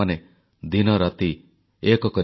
ମନ କି ବାତ୍ ଆରମ୍ଭ କରିବା ସମୟରେ ଆଜି ମନ ଦୁଃଖରେ ଭରି ରହିଛି